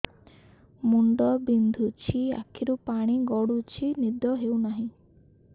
ମୁଣ୍ଡ ବିନ୍ଧୁଛି ଆଖିରୁ ପାଣି ଗଡୁଛି ନିଦ ହେଉନାହିଁ